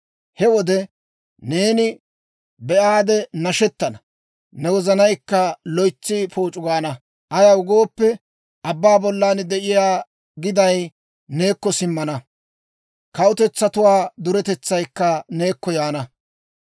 He wode neeni be'aade nashettana; ne wozanaykka loytsi pooc'u gaana. Ayaw gooppe, abbaa bollan de'iyaa giday neekko simmana; kawutetsatuwaa duretetsaykka neekko yaana.